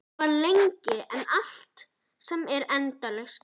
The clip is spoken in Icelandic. Og þegar ég féll í stafi hríslaðist um mig gæsahúð.